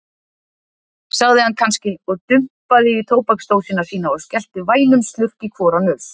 sagði hann kannski og dumpaði í tóbaksdósina sína og skellti vænum slurk í hvora nös.